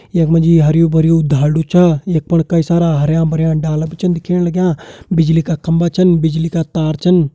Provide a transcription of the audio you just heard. कई सारा डाला भी छन दिखेण लग्यां बिजली का खम्बा छन बिजली का तार छन।